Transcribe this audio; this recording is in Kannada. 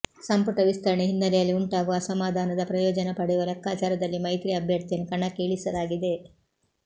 ಸಂಪುಟ ವಿಸ್ತರಣೆ ಹಿನ್ನೆಲೆಯಲ್ಲಿ ಉಂಟಾಗುವ ಅಸಮಾಧಾನದ ಪ್ರಯೋಜನ ಪಡೆಯುವ ಲೆಕ್ಕಾಚಾರದಲ್ಲಿ ಮೈತ್ರಿ ಅಭ್ಯರ್ಥಿಯನ್ನು ಕಣಕ್ಕೆ ಇಳಿಸಲಾಗಿದೆ